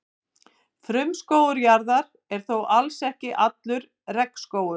Frumskógur jarðar er þó alls ekki allur regnskógur.